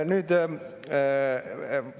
Ma ei saa aru.